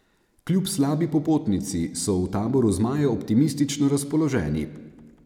Kljub slabi popotnici so v taboru zmajev optimistično razpoloženi.